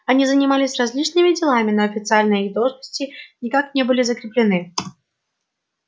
они занимались различными делами но официально их должности никак не были закреплены